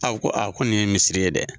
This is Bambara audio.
ko ko nin ye misiri ye dɛ,